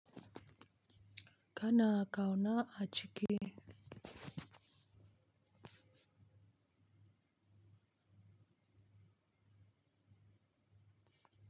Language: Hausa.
Kana ƙauna a cike.